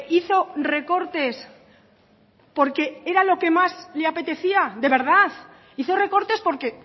hizo recortes porque era lo que más le apetecía de verdad hizo recortes porque